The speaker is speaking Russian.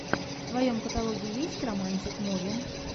в твоем каталоге есть романтик муви